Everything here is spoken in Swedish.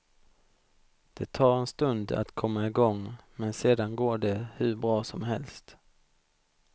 Det tar en stund att komma igång, men sedan går det hur bra som helst.